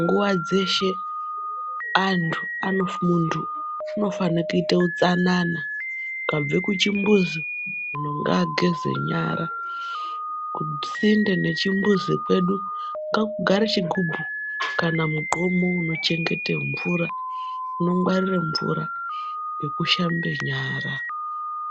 Nguva dzeshe antu anofundu anofana kuita utsanana ukabve kuchibhuzu muntu ngageze nyara. Kusinde mekuchimbuzu kwedu ngakugare chigubhu kana mugomo unochengeta mvura. Unogwarire mvura yekushambe nyara